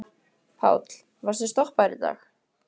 Páll: Varstu stoppaður í dag?